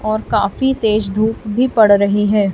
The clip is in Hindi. और काफी तेज धूप भी पड़ रही हैं।